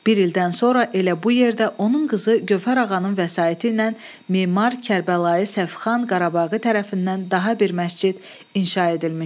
Bir ildən sonra elə bu yerdə onun qızı Gövhər ağanın vəsaiti ilə memar Kərbəlayı Səfixan Qarabaği tərəfindən daha bir məscid inşa edilmişdi.